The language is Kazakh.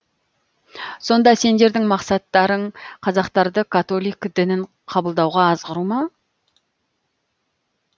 сонда сендердің мақсаттарың қазақтарды католик дінін қабылдауға азғыру ма